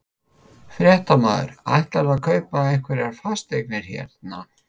Fréttamaður: Ætlarðu að kaupa einhverjar fasteignir hérna?